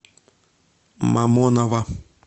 мамоново